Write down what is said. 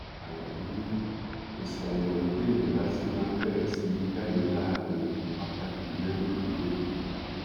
alábí ni èsì àyẹwò téèyàn bá ṣe máa bẹrẹ sí í jáde láàrin wákàtí mẹrìnlélógún